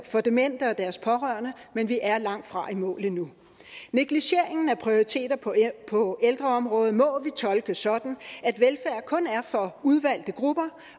for demente og deres pårørende men vi er langtfra i mål endnu negligeringen af prioriteter på på ældreområdet må vi tolke sådan at velfærd kun er for udvalgte grupper